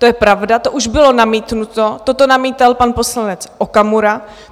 To je pravda, to už bylo namítnuto, toto namítal pan poslanec Okamura.